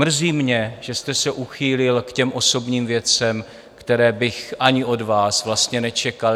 Mrzí mě, že jste se uchýlil k těm osobním věcem, které bych ani od vás vlastně nečekal.